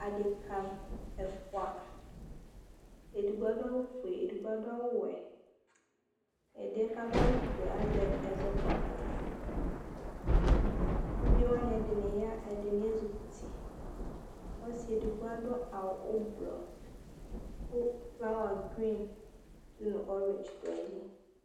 Adeka ɛfua, ɛdigbo adu awʋ fue, edigbo adu awʋ wɛ Ɛdiɛ adu awʋ fue yɛ azɛ ɛzɔkpako Ʋvi wa edini ya ɛdini ezʋkʋti Ɔsi edigbo adu awʋ ʋblʋɔ kʋ flawa grin dʋ nʋ ɔridzi du ayili